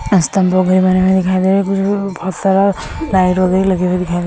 स्तंभ वगैरे बने हुए दिखाई दे रहे हैं कुछ बहुत सारा लाइट वगैरह लगे हुए दिखाई दे --